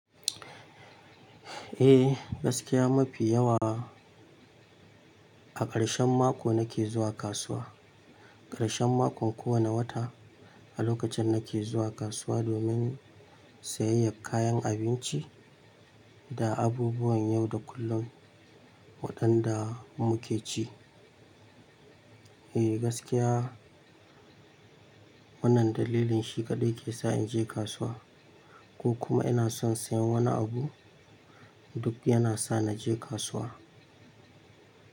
Eh, gaskiya mafi yawa a ƙarshen mako nake zuwa kasuwa. Ƙarshen mako kowane wata a lokacin nake zuwa kasuwa domin sayayyar kayan abinci da abubuwan yau da kullun waɗanda muke ci. Eh gaskiya wannan dalilin shi kaɗai ke sa in je kasuwa ko kuma ina son siyan wani abu duk yana sa na je kasuwa.